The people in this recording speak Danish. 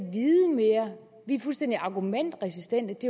vi er fuldstændig argumentresistente